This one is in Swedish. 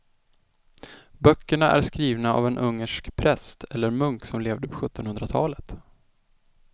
Böckerna är skrivna av en ungersk präst eller munk som levde på sjuttonhundratalet.